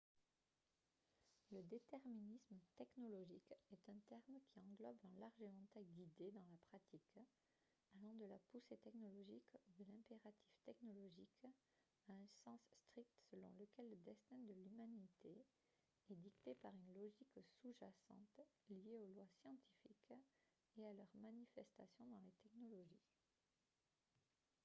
le déterminisme technologique est un terme qui englobe un large éventail d'idées dans la pratique allant de la poussée technologique ou de l'impératif technologique à un sens strict selon lequel le destin de l'humanité est dicté par une logique sous-jacente liée aux lois scientifiques et à leur manifestation dans les technologies